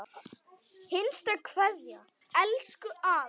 HINSTA KVEÐJA Elsku afi.